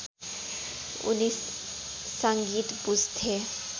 उनी सङ्गीत बुझ्थे